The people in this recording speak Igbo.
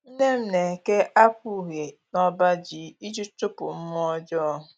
Nne m na-eke akwa uhie nọbaji iji chụpụ mmụọ ọjọọ